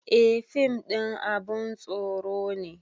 Eh fim ɗin abun tsoro ne